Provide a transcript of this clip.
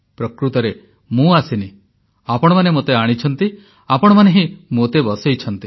ପ୍ରକୃତରେ ମୁଁ ଆସିନି ଆପଣମାନେ ମୋତେ ଆଣିଛନ୍ତି ଆପଣମାନେ ହିଁ ମୋତେ ବସାଇଛନ୍ତି